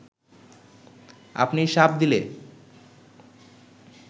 আপনি শাপ দিলে